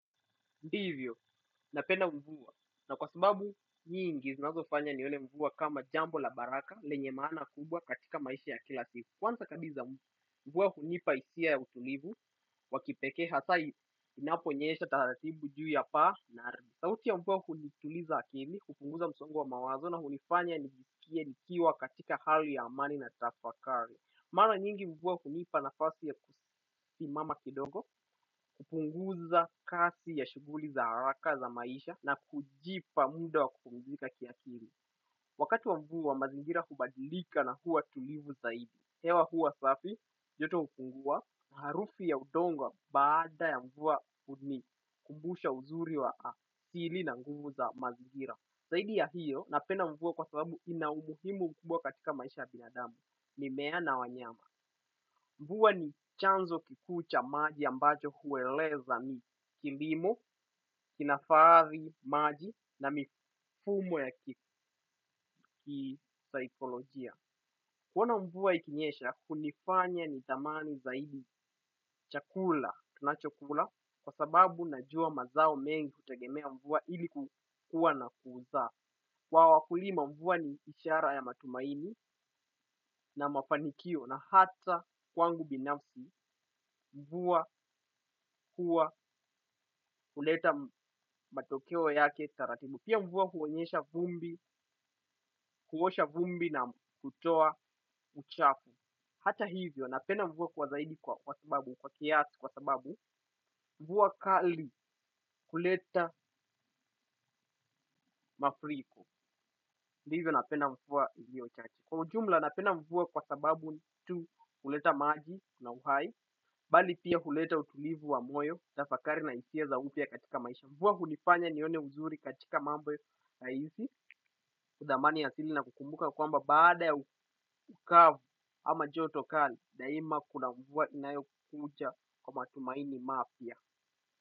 Ndivyo, napenda mvua. Na kwa sababu, nyingi zinazo fanya nione mvua kama jambo la baraka lenye maana kubwa katika maisha ya kila siku. Kwanza kabiza mvua hunipa hisia utulivu wakipekee hasa inpo nyesha taratibu juu ya paa na sauti ya mvua unituliza akili upunguza msongo wa mawazo na unifanya nijiskie nikiwa katika hali ya ammani na tafakari. Mara nyingi mbuwa kunipa na fasi ya kusimama kidongo, kupunguza kasi ya shuguli za haraka za maisha na kujipa muda wa kupumzika kiakili. Wakati wa mvua, mazingira hubadilika na huwa tulivu zaidi. Hewa huwa safi, joto upungua, harufi ya udongo baada ya mvua huni, kumbusha uzuri wa asili na nguvu za mazingira. Saidi ya hiyo, napenda mvua kwa sababu ina umuhimu mkubwa katika maisha ya binadamu, mimea na wanyama. Mvua ni chanzo kikucha maji ambacho huweleza ni kilimo, kinafadhi maji na mifumo ya kisaikolojia. Kuona mvua ikinyesha unifanya nithamani zaidi chakula tunachokula kwa sababu najua mazoa mengi hutegemea mvua ili kukua na kuzaa. Kwa wakulima mvua ni ishara ya matumaini na mafanikio na hata kwangu binafsi mvua kuwa kuleta matokeo yake taratibu. Pia mvua huonyesha vumbi, kuosha vumbi na kutoa uchafu. Napenda mvua kwa kiasi kwa sababu mvua kali kuleta mafuriko. Hivyo napenda mvua iliyo chache kwa ujumla napenda mvua kwa sababu tu huleata maji na uhai bali pia huleta utulivu wa moyo tafakari na hisia za upya katika maisha mvua hunifanya nione uzuri katika mambo ra izi kudhamani ya zili na kukumbuka kwamba baada ya ukavu ama jotokali daima kunamvua inayo kukuja kwa matumaini mapya.